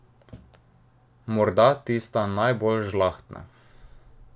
Morda tista najbolj žlahtna.